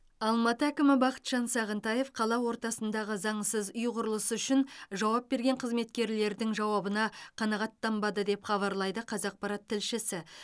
алматы әкімі бақытжан сағынтаев қала ортасындағы заңсыз үй құрылысы үшін жауап берген қызметкерлердің жауабына қанағаттанбады деп хабарлайды қазақпарат тілшісі